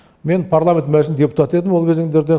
мен парламент мәжің депутаты едім ол кезеңдерде